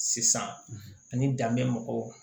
Sisan ani danbe mɔgɔw